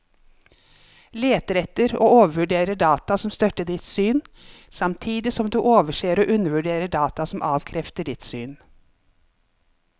Leter etter og overvurderer data som støtter ditt syn, samtidig som du overser og undervurderer data som avkrefter ditt syn.